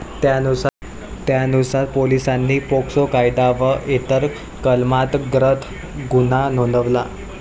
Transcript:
त्यानुसार पोलिसांनी पोक्सो कायदा व इतर कलमांतर्गत गुन्हा नोंदवला.